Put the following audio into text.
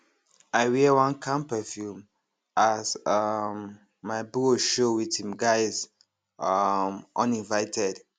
i wear one calm perfume as um my bro show with him guys um uninvited